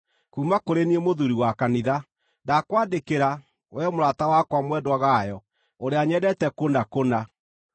Kuuma kũrĩ niĩ Mũthuuri wa Kanitha, Ndakwandĩkĩra, wee mũrata wakwa mwendwa Gayo, ũrĩa nyendete kũna kũna.